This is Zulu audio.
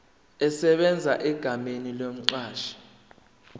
esebenza egameni lomqashi